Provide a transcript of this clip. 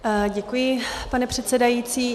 Děkuji, pane předsedající.